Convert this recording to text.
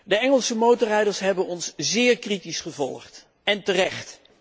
De Engelse motorrijders hebben ons zeer kritisch gevolgd, en terecht.